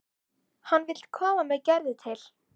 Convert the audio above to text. Hann vill koma með Gerði til